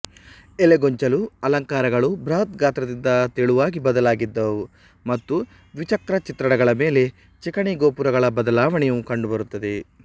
ಎಲೆಗೊಂಚಲು ಅಲಂಕಾರಗಳು ಬೃಹತ್ ಗಾತ್ರದಿಂದ ತೆಳುವಾಗಿ ಬದಲಾಗಿದ್ದವು ಮತ್ತು ದ್ವಿಚಕ್ರ ಚಿತ್ರಣಗಳ ಮೇಲೆ ಚಿಕಣಿ ಗೋಪುರಗಳ ಬದಲಾವಣೆಯು ಕಂಡುಬರುತ್ತದೆ